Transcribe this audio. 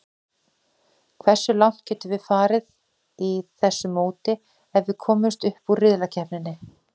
Hversu langt getum við farið í þessu móti ef við komumst upp úr riðlakeppninni?